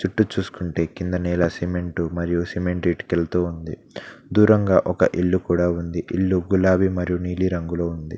చూసుకుంటే కింద నెల సిమెంట్ మరియు సిమెంట్ ఇటుకలతో ఉంది దూరంగా ఒక ఇల్లు కూడా ఉంది ఇల్లు గులాబీ మరియు నీలి రంగులో ఉంది.